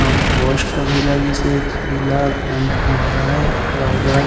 अऊ पोस्ट भी लगिसे जिला रायगड़--